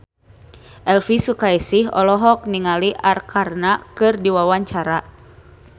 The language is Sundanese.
Elvy Sukaesih olohok ningali Arkarna keur diwawancara